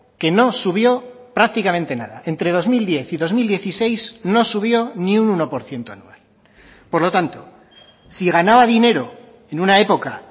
que no subió prácticamente nada entre dos mil diez y dos mil dieciséis no subió ni un uno por ciento anual por lo tanto si ganaba dinero en una época